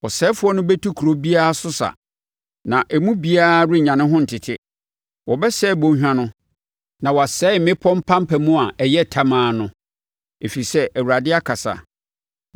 Ɔsɛefoɔ no bɛtu kuro biara so sa, na emu biara renya ne ho ntete. Wɔbɛsɛe bɔnhwa no na wɔasɛe mmepɔ mpampam a ɛyɛ tamaa no, ɛfiri sɛ Awurade akasa.